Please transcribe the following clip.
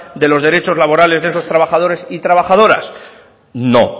de los derechos laborales de esos trabajadores y trabajadoras no